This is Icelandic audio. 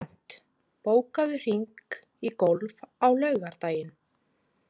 Bent, bókaðu hring í golf á laugardaginn.